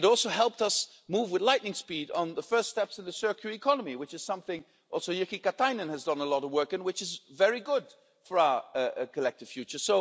It also helped us move with lightning speed on the first steps of the circular economy, which is something also Commissioner Jyrki Katainen has done a lot of work on and which is very good for our collective future.